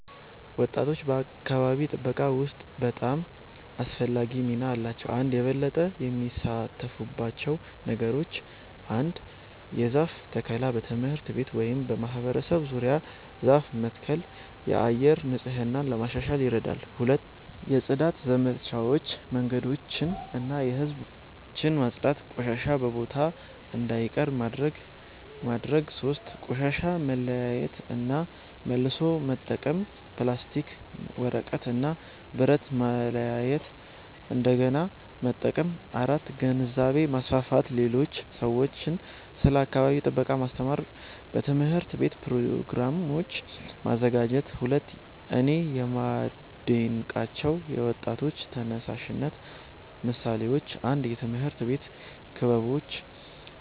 ወጣቶች በአካባቢ ጥበቃ ውስጥ በጣም አስፈላጊ ሚና አላቸው። 1)የበለጠ የሚሳተፉባቸው ነገሮች ? 1. የዛፍ ተከላ በትምህርት ቤት ወይም በማህበረሰብ ዙሪያ ዛፍ መትከል የአየር ንጽህና ለማሻሻል ይረዳል 2. የጽዳት ዘመቻዎች መንገዶችን እና የህዝብ ቦታዎችን ማጽዳት ቆሻሻ በቦታው እንዳይቀር ማድረግ ማድረግ 3. ቆሻሻ መለያየት እና መልሶ መጠቀም ፕላስቲክ፣ ወረቀት እና ብረት ማለያየት እንደገና መጠቀም 4. ግንዛቤ ማስፋፋት ሌሎች ሰዎችን ስለ አካባቢ ጥበቃ ማስተማር በትምህርት ቤት ፕሮግራሞች ማዘጋጀት 2)እኔ የማዴንቃቸው የወጣቶች ተነሳሽነት ምሳሌዎች 1 የትምህርት ቤት ክበቦች